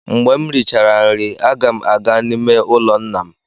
Mgbe m richara nri, aga m aga n'ime ụlọ nna m.